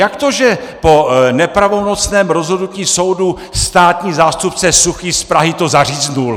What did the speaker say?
Jak to že po nepravomocném rozhodnutí soudu státní zástupce Suchý z Prahy to zaříznul?